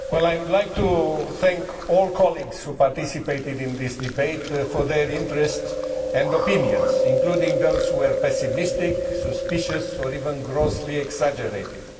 Mr President, I would like to thank all colleagues who participated in this debate for their interest and opinions, including those who were pessimistic, suspicious, or even grossly exaggerating.